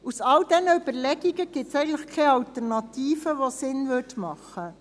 Aus all diesen Überlegungen gibt es eigentlich keine Alternative, die Sinn ergäbe.